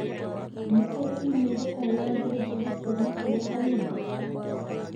Nĩkũrĩ i-mīrū o yothe Njerũ kuuma kũri Halima.